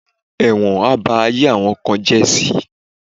Ẹ̀wọ̀n á ba ayé àwọn kan jẹ́ si